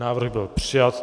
Návrh byl přijat.